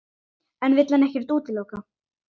En vill hann ekkert útiloka?